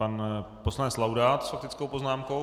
Pan poslanec Laudát s faktickou poznámkou.